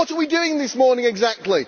What are we doing this morning exactly?